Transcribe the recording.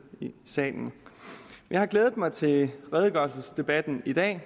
i salen jeg har glædet mig til redegørelsesdebatten i dag